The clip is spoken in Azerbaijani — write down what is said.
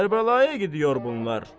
Kərbəlaya gidiyor bunlar.